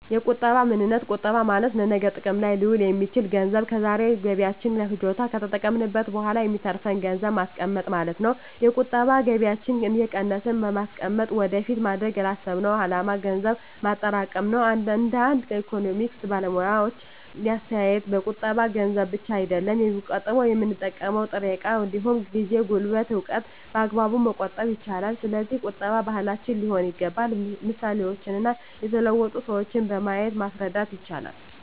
የቁጠባ ምንነት ቁጠባ ማለት ለነገ ጥቅም ላይ ሊውል የሚችል ገንዘብ ከዛሬ ገቢያችን ለፍጆታ ከተጠቀምንት በኋላ የሚተርፍን ገንዘብን ማስቀመጥ ማለት ነው። የቁጠባ ከገቢያችን እየቀነስን በማስቀመጥ ወደፊት ማድረግ ላሰብነው አላማ ገንዘብ ማጠራቀም ነው። እንደ አንዳንድ የኢኮኖሚክስ ባለሙያዎች አስተያየት ቁጠባ ገንዘብ ብቻ አይደለም የሚቆጠበው የምንጠቀመው ጥሬ እቃ እንዲሁም ጊዜ፣ ጉልበትን፣ እውቀትን በአግባቡ መቆጠብ ይቻላል። ስለዚህ ቁጠባ ባህላችን ሊሆን ይገባል ምሳሌዎችን እና የተለወጡ ሰዎችን በማሳየት ማስረዳት ይቻላል